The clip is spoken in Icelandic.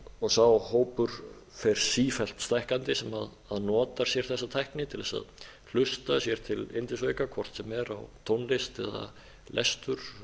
og sá hópur fer sífellt stækkandi sem notar sér þessa tækni til að hlusta sér til yndisauka hvort sem er á tónlist eða lestur